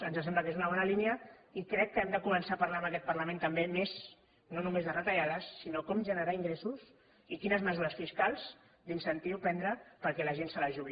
ens sembla que és una bona línia i crec que hem de començar a parlar en aquest parlament també més no només de retallades sinó de com generar ingressos i de quines mesures fiscals d’incentiu prendre perquè la gent se la jugui